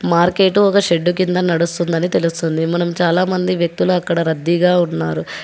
Market ఒక shed కింద నడుస్తుందని తెలుస్తుంది మనం చాలామంది వ్యక్తుల అక్కడ గా ఉన్నారు.